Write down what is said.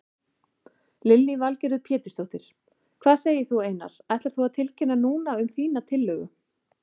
Lillý Valgerður Pétursdóttir: Hvað segir þú Einar, ætlar þú að tilkynna núna um þína tillögu?